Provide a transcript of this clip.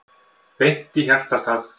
Beint í hjartastað